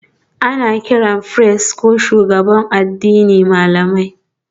Ana kiran firist ko shugabannin addini malamai